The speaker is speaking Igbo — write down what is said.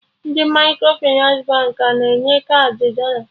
Ndị Microfịnans Baankị a na-enye kaadị dọla?